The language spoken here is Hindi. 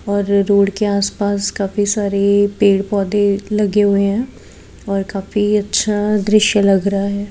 और रोड के आस पास काफी सारे पेड़ पौधे लगे हुए है और काफी अच्छा दृश्य लग रहा है।